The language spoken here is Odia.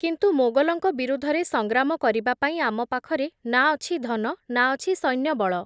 କିନ୍ତୁ ମୋଗଲଙ୍କ ବିରୁଦ୍ଧରେ ସଂଗ୍ରାମ କରିବା ପାଇଁ, ଆମ ପାଖରେ ନା ଅଛି ଧନ, ନା ଅଛି ସୈନ୍ୟ ବଳ ।